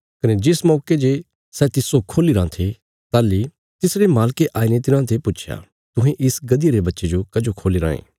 कने जिस मौके जे सै तिस्सो खोल्ली राँ थे ताहली तिसरे मालके आईने तिन्हाते पुच्छया तुहें इस गधिया रे बच्चे जो कजो खोल्ली रायें